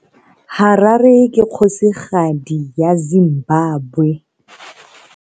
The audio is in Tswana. Harare ke kgosigadi ya Zimbabwe.